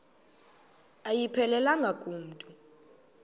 ayiphelelanga ku mntu